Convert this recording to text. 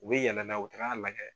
U bɛ yɛlɛ n'a ye u bɛ taga a lajɛ.